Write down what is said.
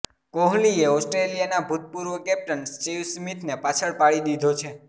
કોહલીએ ઓસ્ટ્રેલિયાના ભૂતપૂર્વ કેપ્ટન સ્ટીવ સ્મીથને પાછળ પાડી દીધો છે